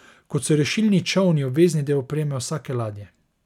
Kot so rešilni čolni obvezni del opreme vsake ladje.